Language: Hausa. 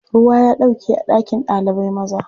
Ruwa ya ɗauke a ɗakin ɗalibai. maza.